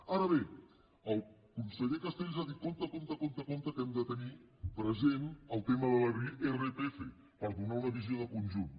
ara bé el conseller castells ha dit compte compte compte que hem de tenir present el tema de l’irpf per donar una visió de conjunt